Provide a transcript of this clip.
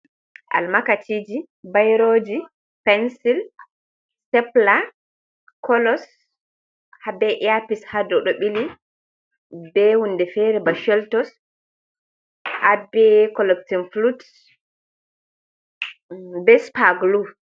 Almakaci ji, bairoji, pensur, stepila, colos, har be eyapis haa dow ɗo ɓili. Be hunde feere ba sheltos haa be correctin flut, be spaglu.